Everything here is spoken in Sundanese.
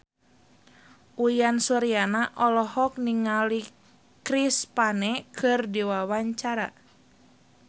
Uyan Suryana olohok ningali Chris Pane keur diwawancara